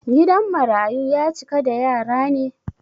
Gidan marayu ya cika da yara ne?